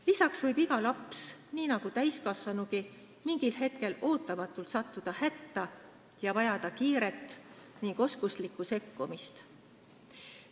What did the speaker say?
Lisaks võib iga laps nii nagu täiskasvanugi mingil hetkel ootamatult hätta sattuda ning vajada kiiret ja oskuslikku sekkumist.